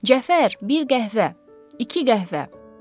Cəfər, bir qəhvə, iki qəhvə.